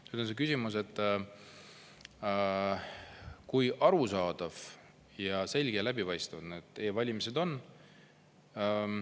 Nüüd on see küsimus, kui arusaadav ja selge ja läbipaistev e-valimine on.